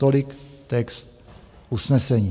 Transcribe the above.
Tolik text usnesení.